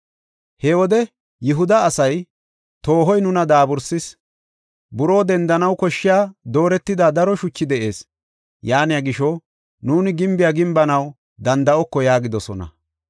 He wode Yihuda asay, “Toohoy nuna daabursis; buroo dendanaw koshshiya dooretida daro shuchi de7ees; yaaniya gisho, nuuni gimbiya gimbanaw danda7oko” yaagidosona.